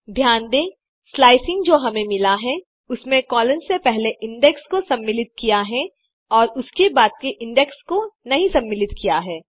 ध्यान दें स्लाइस जो हमें मिला है उसमें कोलन से पहले इंडेक्स को सम्मिलित किया है और उसके बाद के इंडेक्स को नहीं सम्मिलित किया है